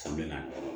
San bɛ na